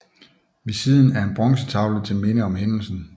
Ved siden af er en bronzetavle til minde om hændelsen